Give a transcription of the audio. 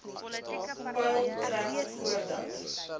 peil trek voordat